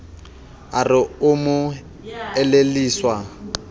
a re o mo elelliswa